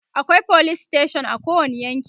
akwai police station a kowani yanki